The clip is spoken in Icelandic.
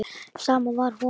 Sama var honum.